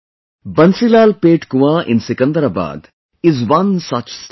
BansilalPet Kuan in Secunderabad is one such step well